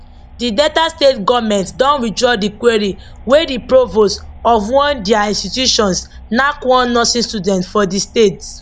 di delta state goment don withdraw di query wey di provost of one dia institutions knack one nursing student for di state